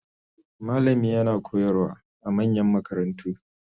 Malami yana koyarwa a manyan makarantu